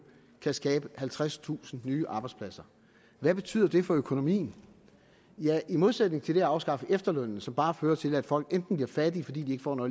kan skabe halvtredstusind nye arbejdspladser hvad betyder det for økonomien ja i modsætning til det at afskaffe efterlønnen som bare fører til enten at folk bliver fattige fordi de ikke får